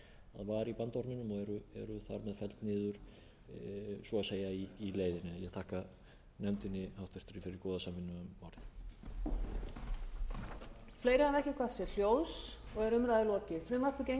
var í bandorminum og eru þar með felld niður svo að segja í leiðinni ég þakka háttvirtum nefnd fyrir góða samvinnu um málið helgi klárar